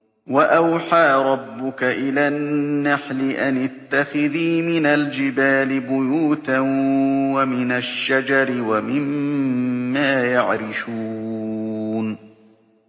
وَأَوْحَىٰ رَبُّكَ إِلَى النَّحْلِ أَنِ اتَّخِذِي مِنَ الْجِبَالِ بُيُوتًا وَمِنَ الشَّجَرِ وَمِمَّا يَعْرِشُونَ